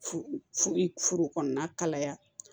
Furu kɔnɔna kalaya